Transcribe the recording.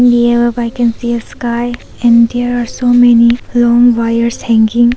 Here I can see a clear sky and there are so many long wires hanging.